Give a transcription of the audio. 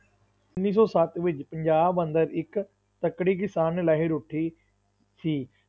ਉੱਨੀ ਸੌ ਸੱਤ ਵਿੱਚ ਪੰਜਾਬ ਅੰਦਰ ਇੱਕ ਤਕੜੀ ਕਿਸਾਨ ਲਹਿਰ ਉੱਠੀ ਸੀ।